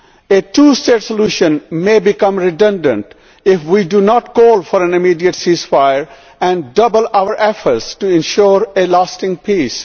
A two state solution may become redundant if we do not call for an immediate ceasefire and redouble our efforts to ensure a lasting peace.